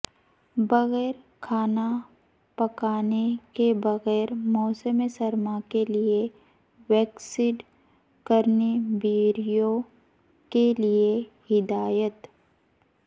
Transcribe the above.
بغیر کھانا پکانے کے بغیر موسم سرما کے لئے ویکسڈ کرینبیریوں کے لئے ہدایت